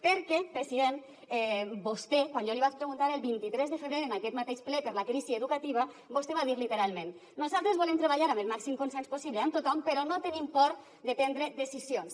perquè president quan jo li vaig preguntar el vint tres de febrer en aquest mateix ple per la crisi educativa vostè va dir literalment nosaltres volem treballar amb el màxim consens possible amb tothom però no tenim por de prendre decisions